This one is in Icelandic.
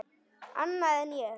Annað en ég.